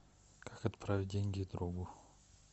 как отправить деньги другу